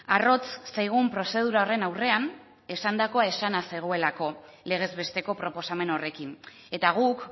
arrotz zaigun prozedura horren aurrean esandakoa esana zegoelako legez besteko proposamen horrekin eta guk